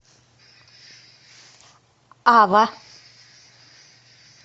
ава